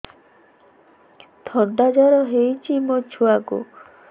ଥଣ୍ଡା ଜର ହେଇଚି ମୋ ଛୁଆକୁ